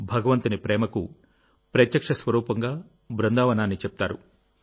భగవంతుని ప్రేమకు ప్రత్యక్ష స్వరూపంగా బృందావనాన్ని చెప్తారు